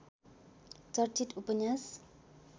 चर्चित उपन्यास